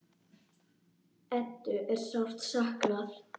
Eddu er sárt saknað.